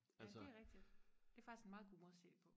ja det er rigtigt det er faktisk en meget god måde og se det på